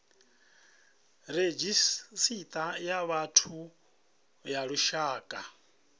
redzhisita ya vhathu ya lushaka